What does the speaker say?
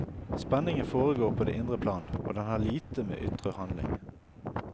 Spenningen foregår på det indre plan og den har lite med ytre handling.